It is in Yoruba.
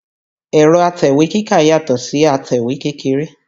Ẹ̀rọ̀ atẹ̀wé kíkà yàtọ̀ si atẹ̀wé kékeré